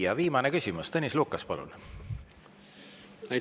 Ja viimane küsimus, Tõnis Lukas, palun!